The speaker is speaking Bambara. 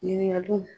Ɲininkaliw